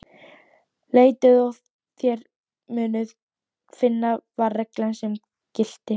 Leitið og þér munuð finna, var reglan sem gilti.